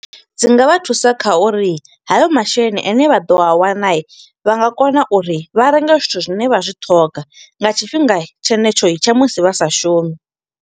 Dzi nga vha thusa kha uri hayo masheleni ane vha ḓo a wana, vha nga kona uri vha renge zwithu zwine vha zwi ṱhoga, nga tshifhinga tshenetsho tsha musi vha sa shumi.